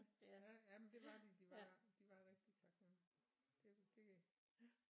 Ja jamen det var de de var de var rigtig taknemmelige det det ja